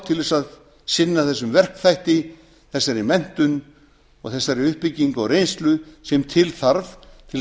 til þess að sinna þessum verkþætti þessari menntun og þessari uppbyggingu á reynslu sem til þarf til þess